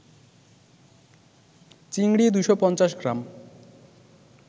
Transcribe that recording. চিংড়ি ২৫০ গ্রাম